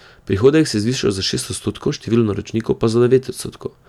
Prihodek se je zvišal za šest odstotkov, število naročnikov pa za devet odstotkov.